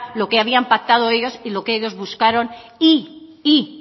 lo que habían pactado ellos y lo que ellos buscaron y